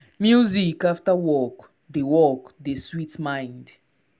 music after work dey work dey sweet mind.